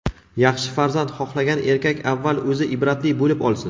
yaxshi farzand xohlagan erkak avval o‘zi ibratli bo‘lib olsin!.